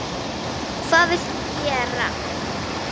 Hvað viltu gera?